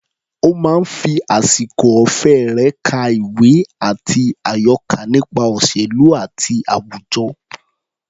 Ó máa ń fi àsìkò ọ̀fẹ́ rẹ̀ ka ìwé àti àyọká nípa òṣèlú àti àwùjọ.